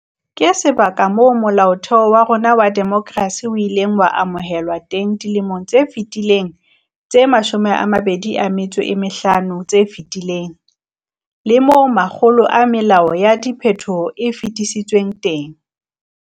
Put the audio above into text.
Ke sebaka moo Molaotheo wa rona wa demokerasi o ileng wa amohelwa teng dilemong tse ka fetang tse 25 tse fetileng, le moo makgolo a melao ya diphethoho e fetisitsweng teng.